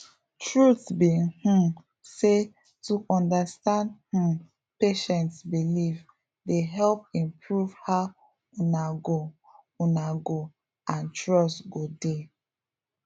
truth be um say to understand um patient beliefs dey help improve how una go una go and trust go dey